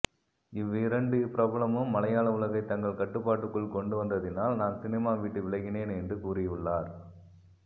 இவ் ரெண்டு பிரபலமும் மலையாள உலகை தங்கள் கட்டுபாட்டுக்குள் கொண்டு வந்ததினால் நான் சினிமா விட்டு விலகினேன் என்று கூறியுள்ளார்